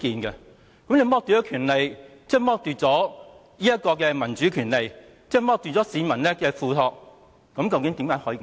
如果你剝奪我們的權利，即剝奪了民主權利，剝奪了市民的付託。